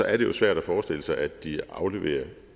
er det jo svært at forestille sig at de afleverer